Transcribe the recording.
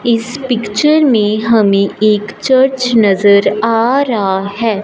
इस पिक्चर में हमें एक चर्च नजर आ रहा है।